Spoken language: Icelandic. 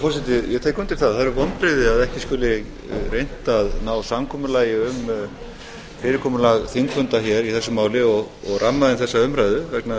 að það eru vonbrigði að ekki skuli reynt að ná samkomulagi um fyrirkomulag þingfunda hér í þessu máli og ramma inn þessa umræðu vegna þess